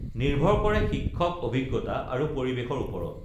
নিৰ্ভৰ কৰে শিক্ষক অভিজ্ঞতা আৰু পৰি‌ৱেশৰ ওপৰত